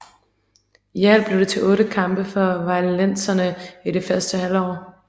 I alt blev det til otte kampe for vejlenserne i det første halvår